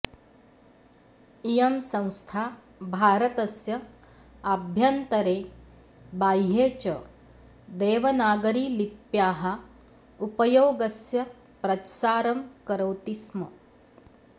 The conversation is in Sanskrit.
इयं संस्था भारतस्य आभ्यन्तरे बाह्ये च देवनागरी लित्याः उपयोगस्य प्रसारं करोति स्म